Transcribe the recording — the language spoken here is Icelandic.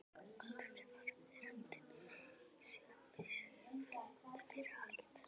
Og kannski var veröldin söm við sig, þrátt fyrir allt.